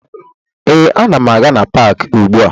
Ee, ana m aga na paakị ugbua